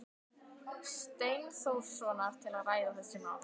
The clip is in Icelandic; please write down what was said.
Steinþórssonar til að ræða þessi mál.